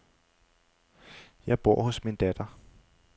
Jeg bor hos min datter.